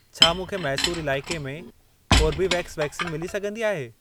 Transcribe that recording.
छा मूंखे मैसूर इलाइके में कोर्बीवेक्स वैक्सीन मिली सघंदी आहे?